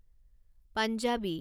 Punjabi